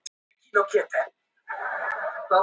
Það væri tilbreyting.